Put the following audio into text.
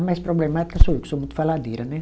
A mais problemática sou eu, que sou muito faladeira, né?